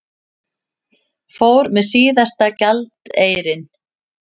Fór með síðasta gjaldeyrinn